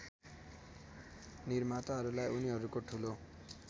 निर्माताहरूलाई उनीहरूको ठूलो